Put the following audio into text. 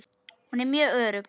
Hún er mjög örugg.